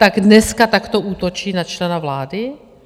Tak dneska takto útočí na člena vlády?